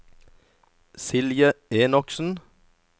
Silje Enoksen